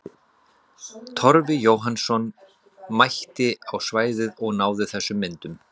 Torfi Jóhannsson mætti á svæðið og náði þessum myndum.